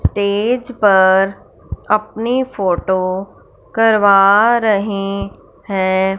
Stage पर अपनी photo करवा रहे है।